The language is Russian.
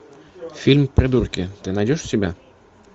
фильм придурки ты найдешь у себя